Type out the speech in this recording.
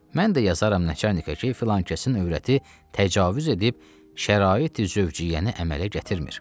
Mən də yazaram nəçanika ki, filankəsin övrəti təcavüz edib şəraiti zövciyyəni əmələ gətirmir.